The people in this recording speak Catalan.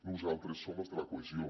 nosaltres som els de la cohesió